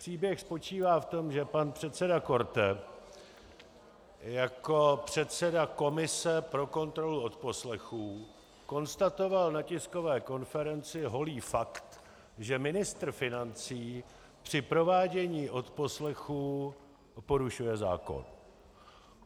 Příběh spočívá v tom, že pan předseda Korte jako předseda komise pro kontrolu odposlechů konstatoval na tiskové konferenci holý fakt, že ministr financí při provádění odposlechů porušuje zákon.